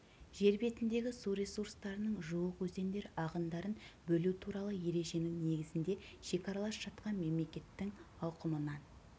жер бетіндегі су ресурстарының жуық өзендер ағындарын бөлу туралы ереженің негізінде шекаралас жатқан мемлекеттің аумағынан